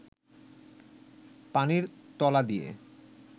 পানির তলা দিয়ে